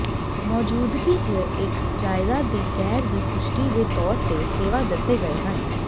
ਮੌਜੂਦਗੀ ਜ ਇੱਕ ਜਾਇਦਾਦ ਦੀ ਗੈਰ ਦੀ ਪੁਸ਼ਟੀ ਦੇ ਤੌਰ ਤੇ ਸੇਵਾ ਦੱਸੇ ਗਏ ਹਨ